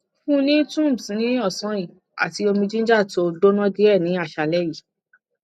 fun ni tums ni osan yi ati omi ginger to gbona die ni asale yi